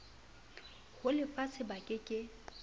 ho lefatshe ba ke ke